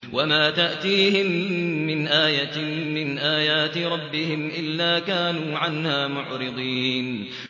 وَمَا تَأْتِيهِم مِّنْ آيَةٍ مِّنْ آيَاتِ رَبِّهِمْ إِلَّا كَانُوا عَنْهَا مُعْرِضِينَ